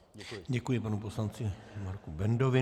Děkuji panu poslanci Marku Bendovi.